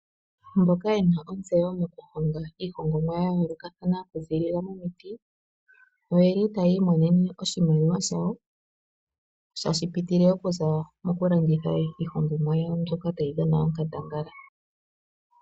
Mboka yena ontseyo mo kuhonga iihongomwa ya yoolokathana oku ziilila momiti, yeli taya imonene oshimaliwa shawo, tashi pitile okuza mokulanditha iihongomwa yawo, mbyoka tayi dhana onkandangala.